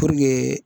Puruke